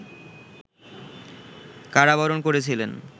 কারাবরণ করেছিলেন